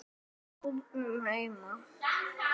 Í skúrnum heima.